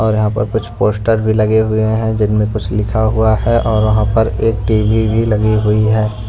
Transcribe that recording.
और यहां पर कुछ पोस्टर भी लगे हुए हैं जिनमें कुछ लिखा हुआ है और वहां पर एक टी_वी भी लगी हुई है।